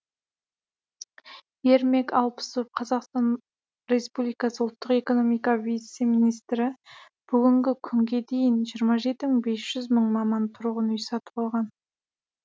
ермек алпысов қазақстан республикасы ұлттық экономика вице министрі бүгінгі күнге дейін жиырма жеті мың бес жүз мың маман тұрғын үй сатып алған